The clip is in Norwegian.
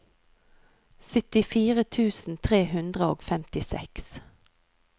syttifire tusen tre hundre og femtiseks